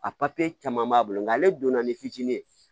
A papiye caman b'a bolo nka ale donna ni fitinin ye